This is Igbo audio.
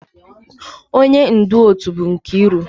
Onye ndu otu bụ Nkiru